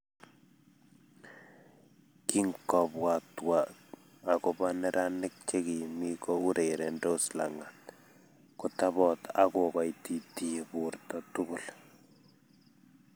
Kingobwatwa agobo neranik chekimi ko urerendos langat, kotobot akokoititiyi borto tugul